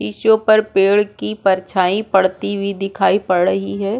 इसके ऊपर पेड़ की परछाई पड़ती हुई दिखाई पड़ रही है।